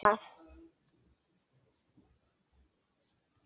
Veist þú það?